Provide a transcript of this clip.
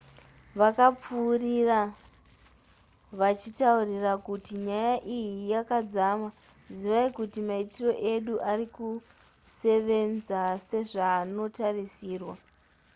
vakapfuurira vachitaura kuti nyaya iyi yakadzama zivai kuti maitiro edu arikusevenza sezvaanotarisirwa